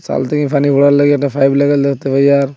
call থেকে পানি ভরার লইগে একটা পাইপ দেখতে পাই আর--